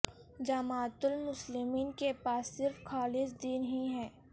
جماعت المسلمین کے پاس صرف خالص دین ہی ہے